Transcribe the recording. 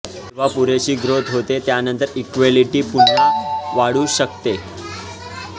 जेव्हा पुरेशी ग्रोथ होते त्यानंतर इक्वॅलिटी पुन्हा वाढू शकते